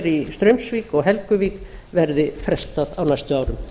í straumsvík og helguvík verði frestað á næstu árum